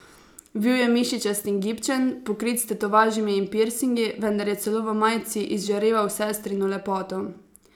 Bil je mišičast in gibčen, pokrit s tetovažami in pirsingi, vendar je celo v majici izžareval sestrino lepoto.